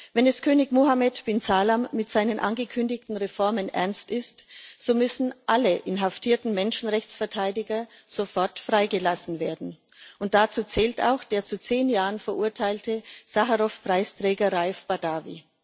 Wenn es König Mohammed bin Salman mit seinen angekündigten Reformen ernst ist, so müssen alle inhaftierten Menschenrechtsverteidiger sofort freigelassen werden. Dazu zählt auch der zu zehn Jahren verurteilte Sacharow Preisträger Raif Badawi.